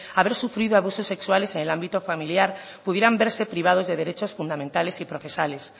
haber sufrido abusos sexuales en el ámbito familiar pudieran verse privados de derechos fundamentales y procesales